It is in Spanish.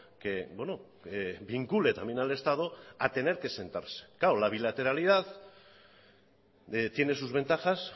que vincule también al estado a tener que sentarse claro la bilateralidad tiene sus ventajas